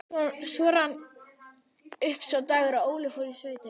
Svo rann upp sá dagur að Óli fór í sveitina.